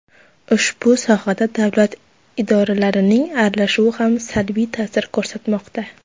Ushbu sohada davlat idoralarining aralashuvi ham salbiy ta’sir ko‘rsatmoqda.